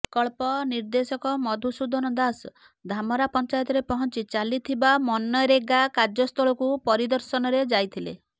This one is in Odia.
ପ୍ରକଳ୍ପ ନିର୍ଦେଶକ ମଧୁସୁଦନ ଦାସ ଧାମରା ପଂଚାୟତରେ ପହଞ୍ଚି ଚାଲିଥିବା ମନରେଗା କାର୍ଯ୍ୟସ୍ଥଳକୁ ପରିଦର୍ଶନରେ ଯାଇଥିଲେ